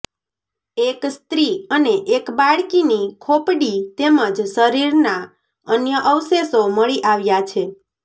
એક સ્ત્રી અને એક બાળકીની ખોપડી તેમજ શરીરના અન્ય અવશેષો મળી આવ્યા છે